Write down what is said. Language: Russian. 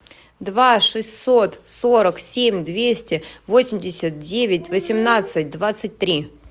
два шестьсот сорок семь двести восемьдесят девять восемнадцать двадцать три